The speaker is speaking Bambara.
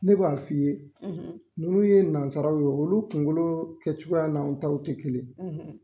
Ne b'a f'i ye nunnu ye nanzaraw ye olu kungolo kɛcogoya n'an taw tɛ kelen.